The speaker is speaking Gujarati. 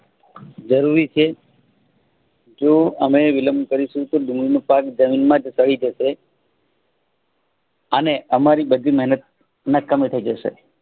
જરૂરી છે જો અમે વિલમ્બ કરી સૂતો ડુંગળીનપો પાક જમીનમાં દટાય જશે. અને અમારી બધી મહેનત નકામી થઈજશે